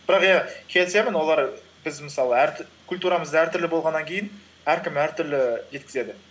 бірақ иә келісемін олар біз мысалы культурамыз әртүрлі болғаннан кейін әркім әртүрлі жеткізеді